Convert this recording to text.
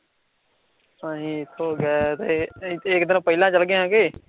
ਅਸੀਂ ਇਥੋਂ ਗਏ ਸੈਂ, ਇਕ ਦਿਨ ਪਹਿਲਾਂ ਚਲੇ ਗਏ ਹਾਂ ਕੇ